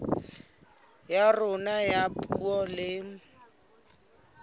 ya rona ya puo le